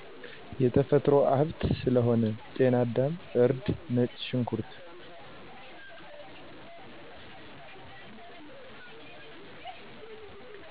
የተፈጥሮ ሀብት ስለሆነ ጨናዳም፣ እርድ ነጭ ሽንኩርት